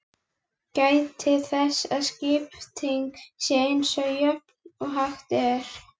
Gætið þess að skiptingin sé eins jöfn og hægt er.